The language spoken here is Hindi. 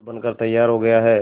पुल बनकर तैयार हो गया है